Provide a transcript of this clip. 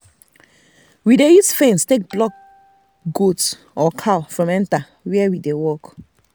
we dey use fence take block goat or cow from enter where we dey work.